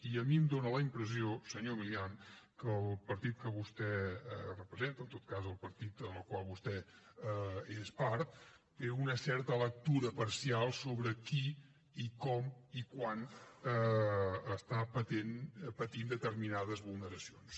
i a mi em fa la impressió senyor milián que el partit que vostè representa o en tot cas el partit del qual vostè és part té una certa lectura parcial sobre qui i com i quan pateix determinades vulneracions